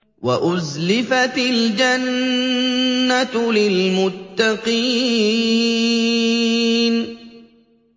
وَأُزْلِفَتِ الْجَنَّةُ لِلْمُتَّقِينَ